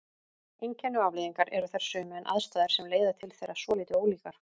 Einkenni og afleiðingar eru þær sömu en aðstæður sem leiða til þeirra svolítið ólíkar.